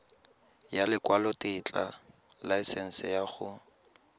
ya lekwalotetla laesense ya go